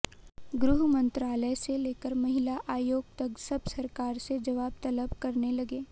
गृह मंत्रालय से लेकर महिला आयोग तक सब सरकार से जवाब तलब करने लगे